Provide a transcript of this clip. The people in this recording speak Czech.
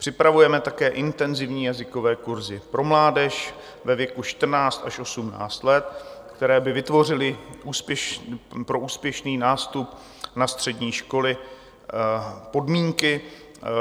Připravujeme také intenzivní jazykové kurzy pro mládež ve věku 14 až 18 let, které by vytvořily pro úspěšný nástup na střední školy podmínky.